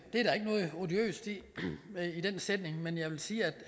noget odiøst i den sætning men jeg vil sige at